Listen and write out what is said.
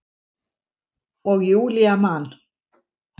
Og Júlía man.